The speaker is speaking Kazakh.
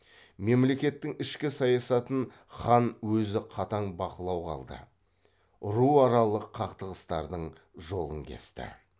мемлекеттің ішкі саясатын хан өзі қатаң бақылауға алды ру аралық қақтығыстардың жолын кесті